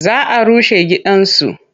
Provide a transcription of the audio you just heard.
Za a rushe gidansu.